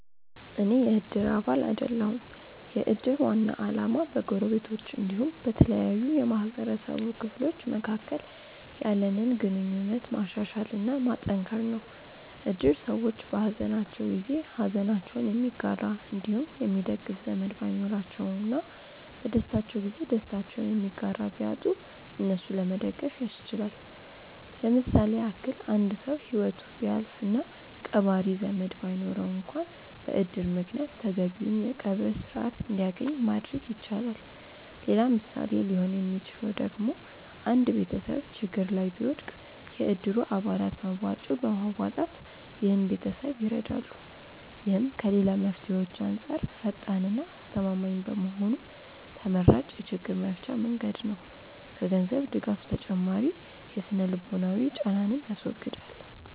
አኔ የ እድር አባል አይደለሁም። የ እድር ዋና አላማ በ ጎረቤቶች አንዲሁም በተለያዩ የ ማህበረሰቡ ክፍሎች መካከል ያለንን ግንኙነት ማሻሻል እና ማጠንከር ነው። እድር ሰዎች በ ሃዘናቸው ጊዜ ሃዘናቸውን የሚጋራ አንዲሁም የሚደግፍ ዘመድ ባይኖራቸው እና በ ደስታቸው ጊዜ ደስታቸውን የሚጋራ ቢያጡ እነሱን ለመደገፍ ያስችላል። ለምሳሌ ያክል አንድ ሰው ሂወቱ ቢያልፍ እና ቀባሪ ዘመድ ባይኖረው አንክዋን በ እድር ምክንያት ተገቢውን የ ቀብር ስርዓት አንድያገኝ ማድረግ ይቻላል። ሌላ ምሳሌ ሊሆን ሚችለው ደግሞ አንድ ቤተሰብ ችግር ላይ ቢወድቅ የ እድሩ አባላት መዋጮ በማዋጣት ይህን ቤተሰብ ይረዳሉ። ይህም ከ ሌላ መፍትሄዎች አንጻር ፈጣን እና አስተማማኝ በመሆኑ ተመራጭ የ ችግር መፍቻ መንገድ ነው። ከ ገንዘብ ድጋፍ ተጨማሪ የ ስነ-ልቦናዊ ጫናንንም ያስወግዳል።